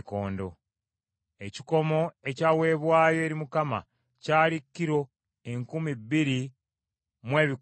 Ekikomo ekyaweebwayo eri Mukama olw’ekiweebwayo ekiwuubibwa kyali kilo enkumi bbiri mu ebikumi bina.